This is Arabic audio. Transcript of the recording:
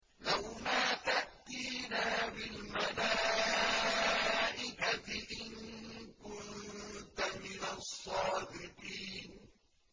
لَّوْ مَا تَأْتِينَا بِالْمَلَائِكَةِ إِن كُنتَ مِنَ الصَّادِقِينَ